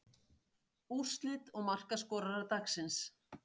Úrslit og markaskorarar dagsins.